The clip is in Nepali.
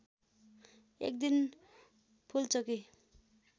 एक दिन फूलचोकी